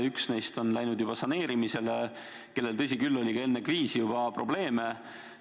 Üks neist on läinud juba saneerimisele, aga temal, tõsi küll, oli ka enne kriisi probleeme.